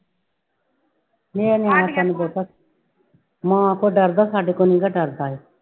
ਨੀ ਉਹਨੇ ਪਤਾ ਮਾਂ ਤੋਂ ਡਰਦਾ ਸਾਡੇ ਕੋਲੋਂ ਨੀਗਾ ਡਰਦਾ।